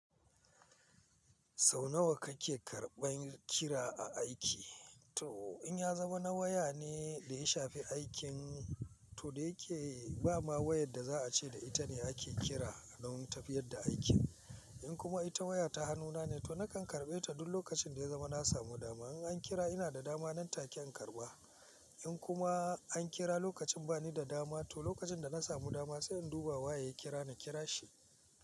Sau nawa kake karɓan kira a aiki? To in ya zama na waya ne da ya shafi aikin, to da yake ba ma wayar da za a ce da ita ne ake kira don tafiyar da aikin. In kuma ita waya ta hannuna ne, to nakan karɓe ta duk lokacin da ya zama na samu dama. In an kira ina da dama nan take an karɓa. In kuma an kira lokacin bani da dama, to lokacin da na samu dama sai in duba wa ya kira ni, kira shi.